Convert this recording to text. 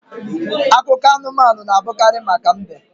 Akụkọ anumanu na abụkarị maka mbe